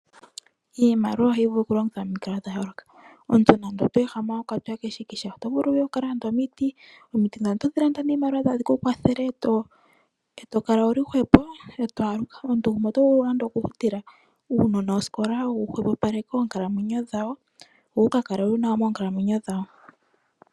Iimaliwa ohayi vulu oku longithwa pa mikalo dha yooloka. Omuntu nande oto ehama wa kwatwa keshikisha oto vulu wuye wu ka lande omiti, omiti ngawo otodhi landa niimaliwa dho tadhi ku kwathele e to kala wuli hwepo e to aluka. Omuntu gumwe oto vulu nande oku futila uunona osikola wu hwepopaleke oonkalamwenyo dhawo, wo wu ka kale wuna oonkalamwenyo dhawo.